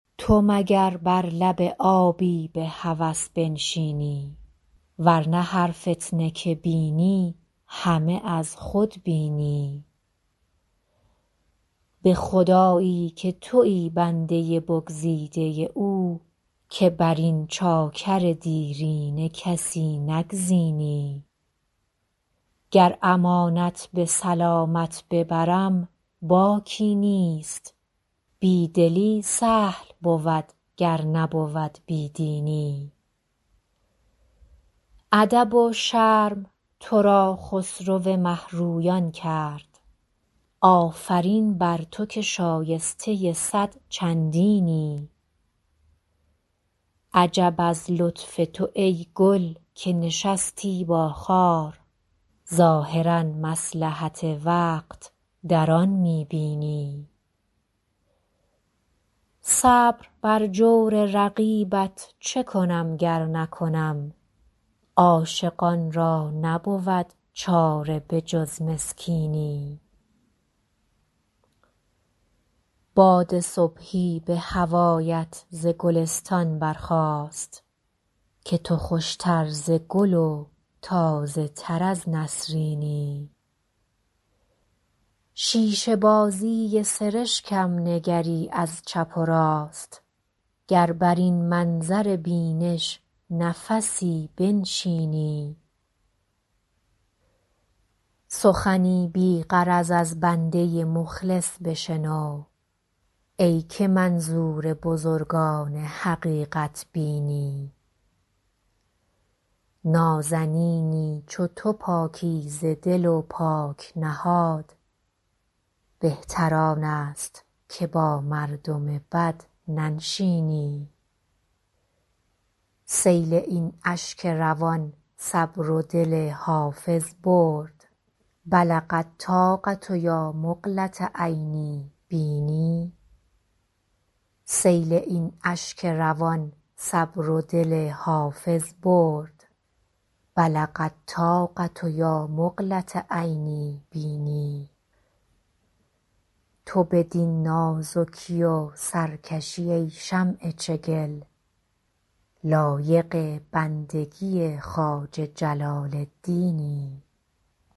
تو مگر بر لب آبی به هوس بنشینی ور نه هر فتنه که بینی همه از خود بینی به خدایی که تویی بنده بگزیده او که بر این چاکر دیرینه کسی نگزینی گر امانت به سلامت ببرم باکی نیست بی دلی سهل بود گر نبود بی دینی ادب و شرم تو را خسرو مه رویان کرد آفرین بر تو که شایسته صد چندینی عجب از لطف تو ای گل که نشستی با خار ظاهرا مصلحت وقت در آن می بینی صبر بر جور رقیبت چه کنم گر نکنم عاشقان را نبود چاره به جز مسکینی باد صبحی به هوایت ز گلستان برخاست که تو خوش تر ز گل و تازه تر از نسرینی شیشه بازی سرشکم نگری از چپ و راست گر بر این منظر بینش نفسی بنشینی سخنی بی غرض از بنده مخلص بشنو ای که منظور بزرگان حقیقت بینی نازنینی چو تو پاکیزه دل و پاک نهاد بهتر آن است که با مردم بد ننشینی سیل این اشک روان صبر و دل حافظ برد بلغ الطاقة یا مقلة عینی بیني تو بدین نازکی و سرکشی ای شمع چگل لایق بندگی خواجه جلال الدینی